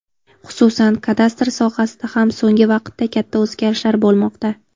Xususan, kadastr sohasida ham so‘ngi vaqtda katta o‘zgarishlar bo‘lmoqda.